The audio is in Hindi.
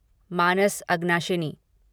मानस अगनाशिनी